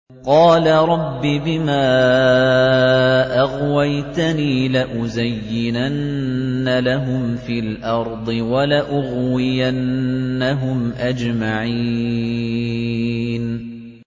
قَالَ رَبِّ بِمَا أَغْوَيْتَنِي لَأُزَيِّنَنَّ لَهُمْ فِي الْأَرْضِ وَلَأُغْوِيَنَّهُمْ أَجْمَعِينَ